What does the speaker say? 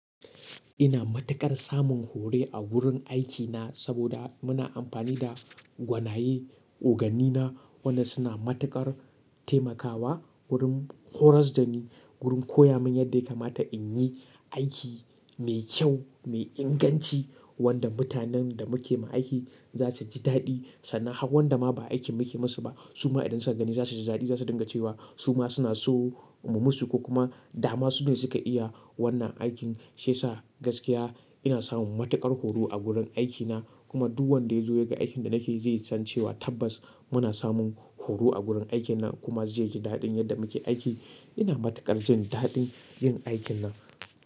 Ina matuƙar samun horo a wurin aikina saboda muna amfani da gwanaye, oganina waɗanda suna matuƙar taimakawa wurin horas da ni, wurin koya min yadda ya kamata in yi aiki mai kyau, mai inganci wanda mutanen da muke ma aiki za su ji daɗi. Sana'a wanda ma ba aiki muke musu ba su ma idan suka gani za su ji daɗi, za su dinga cewa su ma suna so mu musu ko kuma da ma su ne suka iya wannan aikin. Shi yasa gaskiya ina san matukar horo a gurin aikina. Kuma duk wanda ya zo yagan aikin da nake yi zai cewa tabbas, muna samu horo a gurin aiki na kuma zai ji dadin yadda muke aiki ina matuƙar jin daɗin yin aikin nan.